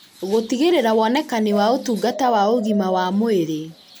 gũtigĩrĩra wonekani wa ũtungata wa ũgima wa mwĩrĩ